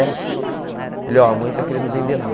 sete. Ele oh, a mãe está querendo vender lá.